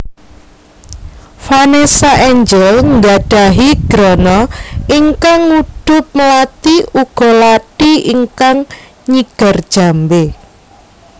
Vanessa Angel nggadhahi grana ingkang ngudhup mlati uga lathi ingkang nyigar jambe